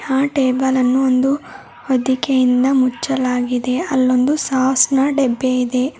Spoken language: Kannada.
ಆ ಟೇಬಲ್ ಅನ್ನು ಒಂದು ವಧಿಕೆಯಿಂದ ಮುಚ್ಚಲಾಗಿದೆ ಅಲ್ಲೊಂದು ಸಾಸ್ ನ ಡಬ್ಬಿ ಇದೆ.